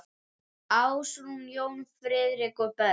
Ásrún, Jón Friðrik og börn.